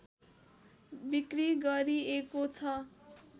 बिक्री गरिएको छ